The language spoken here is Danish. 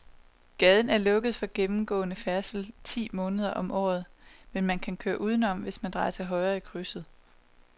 Gaden er lukket for gennemgående færdsel ti måneder om året, men man kan køre udenom, hvis man drejer til højre i krydset.